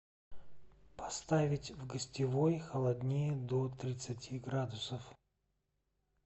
поставить в гостевой холоднее до тридцати градусов